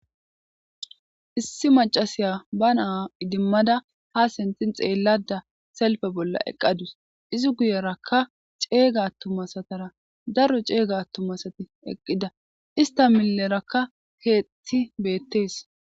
Issi macasiya ba naa idimmada ha sentin xeellada selfe bolla eqqadus izi guyerakka ceeyga attumasatara darro ceeyga attumasati eqqida ista millerakka keetti beettees.